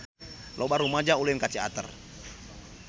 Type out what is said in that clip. Loba rumaja ulin ka Ciater